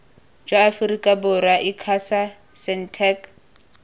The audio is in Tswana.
jwa aforika borwa icasa sentech